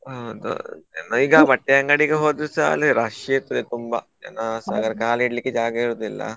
ಹೌದು ಬಟ್ಟೆ ಅಂಗಡಿ ಹೋದ್ರುಸ ಅಲ್ಲಿ rush ಇರ್ತದೆ ತುಂಬಾ ಆ ಇಡ್ಲಿಕ್ಕೆ ಜಾಗ ಇರುದಿಲ್ಲ.